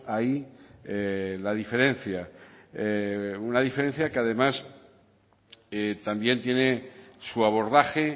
ahí la diferencia una diferencia que además también tiene su abordaje